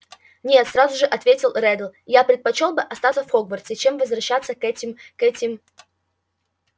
нет сразу же ответил реддл я предпочёл бы остаться в хогвартсе чем возвращаться к этим к этим